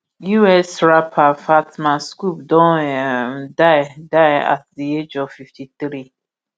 us rapper fatman scoop don um die die at di age of fiftythree